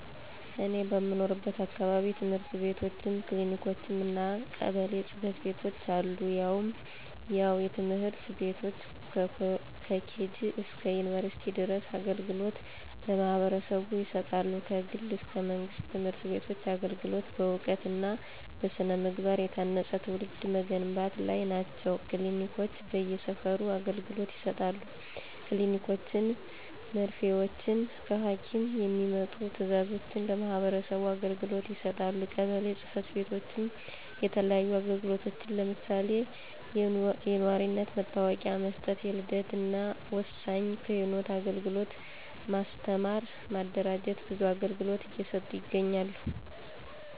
እኔ በምኖርበት አካባቢ፦ ትምህርት ቤትችም፣ ክሊኒኮችም እና ቀበሌ ጽ/ቤቶች አሉ። ያው ትምህርት ቤቶች ከኬጅ እስከ ዩንቨርስቲ ድረስ አገልግሎት ለማህበረሰቡ ይሰጣሉ። ከግል እስከ መንግስት ትምህርት ቤቶች አገልግሎት በእውቀት እና በስነ-ምግባ የታነፀ ትውልድ መገንባት ላይ ናቸው። ክሊኒኮች በየ ሰፈሩ አገልግሎት ይሰጣሉ። ከኒኖችን መርፊወችን ከሀኪም የሚመጡ ትዛዞችን ለማህበረሰቡ አገልግሎት ይሰጣሉ። ቀበሌ ፅ/ቤቶችም የተለያዩ አግልግሎቶችን ለምሳሌ፦ የኗሪነት መታወቂያ መስጠት፣ የልደት እናወሳኝ ኩነት አግልግሎት፣ ማስተማር ማደራጀት ብዙ አገልግሎት እየሰጡ ይገኛሉ።